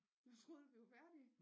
Troede du at vi var færdige